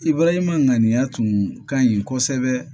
ŋaniiya tun ka ɲi kosɛbɛ